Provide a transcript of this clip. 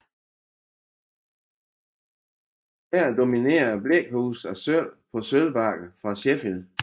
Her dominerede blækhuse af sølv på sølvbakker fra Sheffield